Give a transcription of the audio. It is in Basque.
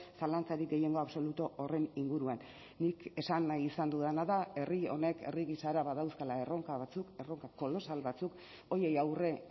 zalantzarik gehiengo absolutu horren inguruan nik esan nahi izan dudana da herri honek herri gisara badauzkala erronka batzuk erronka kolosal batzuk horiei aurre